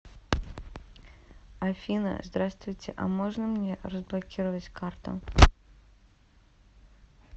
афина здравствуйте а можно мне разблокировать карту